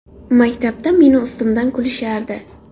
Maktabda meni ustimdan kulishardi.